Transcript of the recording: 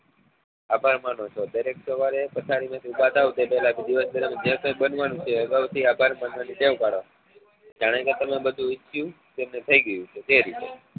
આભાર માનો છો દરરોજ સવારે પથારી માં થી ઉભા થાવ એ પહેલા જે કઈ બનવા નું છે અગાઉ થી આભાર માનવા ની ટેવ પાડો જાને કે તમે બધું ઈચ્છ્યું એ બધું થઇ ગયું છે એ રીતે